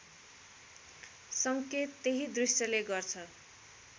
सङ्केत त्यही दृश्यले गर्छ